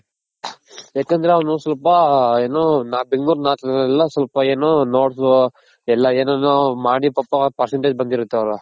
ಯಾಕಂದ್ರೆ ಅವ್ನು ಸ್ವಲ್ಪ ಏನು ಬೆಂಗಳೂರ್ north ಅಲ್ಲ ಸ್ವಲ್ಪ ಏನು ಎಲ್ಲ ಏನೇನೋ ಮಾಡಿ ಪಾಪ percentage ಬಂದಿರುತ್